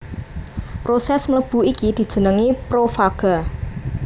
Prosès mlebu iki dijenengi profaga